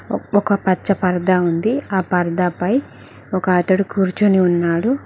ఒ ఒక పచ్చ పరదా ఉంది. ఆపరదా పై ఒక అతడు కూర్చొని ఉన్నాడు.